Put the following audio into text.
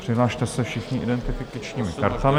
Přihlaste se všichni identifikačními kartami.